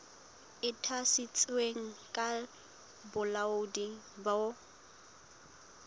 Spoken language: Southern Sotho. e ntshitsweng ke bolaodi bo